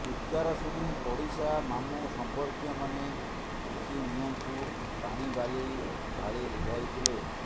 ଚିତ୍କାର ଶୁଣି ପଡିଶା ମାମୁଁ ସମ୍ପର୍କୀୟମାନେ ଉଠି ନିଆଁକୁ ପାଣି ବାଲି ଢ଼ାଲି ଲିଭାଇ ଥିଲେ